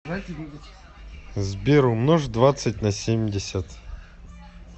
сбер умножь двадцать на семьдесят